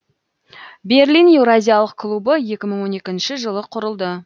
берлин еуразиялық клубы екі мың он екінші жылы құрылды